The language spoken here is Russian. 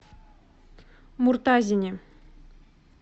муртазине